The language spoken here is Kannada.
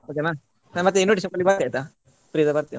Okay ನ ಮತ್ತೆ invitation ಕೊಡ್ಲಿಕ್ಕೆ ಬರ್ತೇನೆ ಆಯ್ತಾ free ಇದ್ದಾಗ ಬರ್ತೇನೆ.